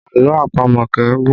Àlọ́ àpamọ̀ kì í gùn